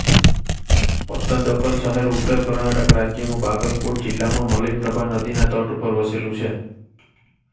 પત્તદકલ શહેર ઉત્તર કર્ણાટક રાજ્યમાં બાગલકોટ જિલ્લામાં મલયપ્રભા નદીના તટ પર વસેલું છે